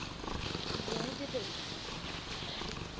j de wet